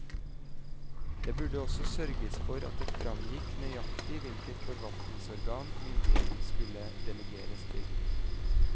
Det burde også sørges for at det framgikk nøyaktig hvilket forvaltningsorgan myndigheten skulle delegeres til.